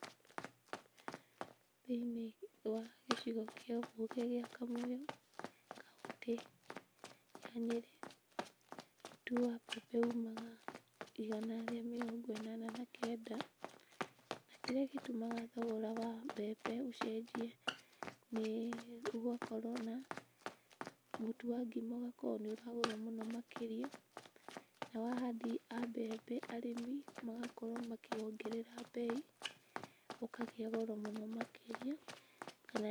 Thĩiniĩ wa gĩcigo kĩa mbunge gĩa Kamũyũ, kauntĩ ya Nyĩrĩ, mũtu wa mbembe umaga igana rĩa mĩrongo ĩnana na kenda, na kĩrĩa gĩtũmaga thogora wa mbembe ũcenjie nĩĩ gũgakorwo na mũtu wa ngima ũgakorwo nĩũragũrwo mũno makĩria, nao ahandi a mbembe arĩmi, magakorwo makĩwongerera mbei, ũkagĩa goro mũno makĩria, kana.